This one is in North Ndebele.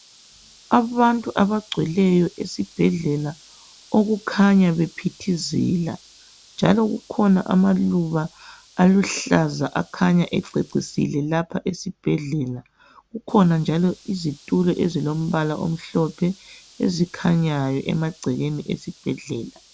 Abantu abagcweleyo esibhedlela okukhanya bephithizela njalo kukhona amaluba aluhlaza akhanya ececisile lapha esibhedlela. Kukhona njalo izitulo ezilombala omhlophe ezikhanyayo emagcekeni esibhedlela